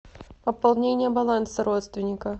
пополнение баланса родственника